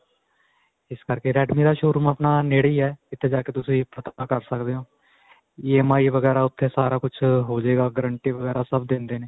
ਇਸ ਕਰਕੇ redme ਦਾ showroom ਆਪਣਾ ਨੇੜੇ ਹੀ ਹੈ ਇੱਥੇ ਜਾਂ ਕੇ ਤੁਸੀਂ ਪਤਾ ਕਰ ਸਕਦੇ ਹੋ. EMI ਵਗੈਰਾ ਉੱਥੇ ਸਾਰਾ ਕੁੱਝ ਹੋ ਜਾਏਗਾ, guarantee ਵਗੈਰਾ ਸਭ ਦਿੰਦੇ ਨੇ.